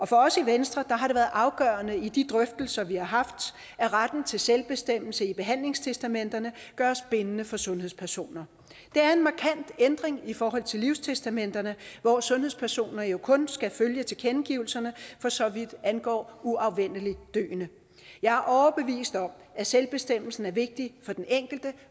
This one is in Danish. for os i venstre har det været afgørende i de drøftelser vi har haft at retten til selvbestemmelse i behandlingstestamenterne gøres bindende for sundhedspersoner det er en markant ændring i forhold til livstestamenterne hvor sundhedspersoner jo kun skal følge tilkendegivelserne for så vidt angår uafvendeligt døende jeg er overbevist om at selvbestemmelsen er vigtig for den enkelte